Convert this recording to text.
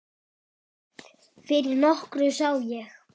Fyrir nokkru sá ég